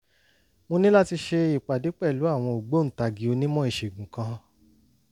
mo ní láti ṣe ìpàdé pẹ̀lú ògbóǹtagì onímọ̀ ìṣègùn kan